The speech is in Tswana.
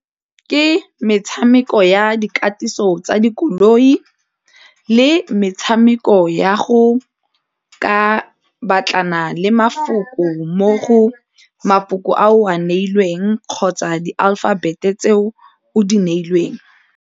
Ke metshameko ya dikatiso tsa dikoloi le metshameko ya go ka batlana le mafoko mmogo mafoko a o a neilweng kgotsa di-aphabet tse o o di neilweng.